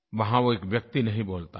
वहाँ वो एक व्यक्ति नहीं बोलता है